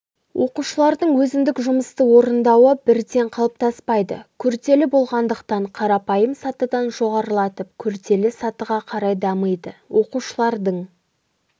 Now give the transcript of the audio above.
оқушылардың өзіндік жұмысты орындауы бірден қалыптаспайды күрделі болғандықтан қарапайым сатыдан жоғарылатып күрделі сатыға қарай дамиды оқушылардың